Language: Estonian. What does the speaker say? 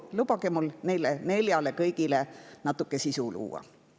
Lubage mul kõigile neile neljale natuke sisu luua.